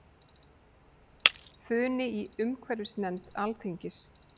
Funi í umhverfisnefnd Alþingis